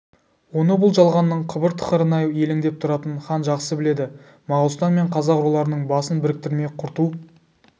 оны бұл жалғанның қыбыр-тықырына елеңдеп тұратын хан жақсы біледі моғолстан мен қазақ руларының басын біріктірмей құрту